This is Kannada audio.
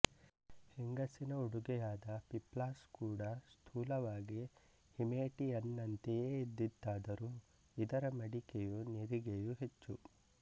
ಹೆಂಗಸಿನ ಉಡುಗೆಯಾದ ಪಿಪ್ಲಾಸ್ ಕೂಡ ಸ್ಥೂಲವಾಗಿ ಹಿಮೇಟಿಯನ್ನಂತೆಯೇ ಇದ್ದಿತಾದರೂ ಇದರ ಮಡಿಕೆಯೂ ನಿರಿಗೆಯೂ ಹೆಚ್ಚು